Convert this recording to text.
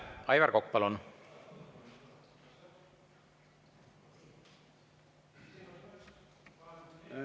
Aivar Kokk, palun!